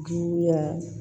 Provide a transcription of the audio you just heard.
Juguya